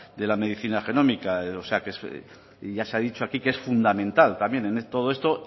de la medicina genómica o sea que ya se ha dicho aquí que es fundamental también en todo esto